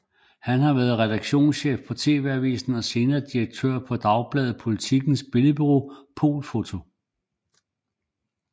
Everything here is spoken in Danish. Han har været redaktionschef på TV Avisen og senere direktør på Dagbladet Politikens billedbureau Polfoto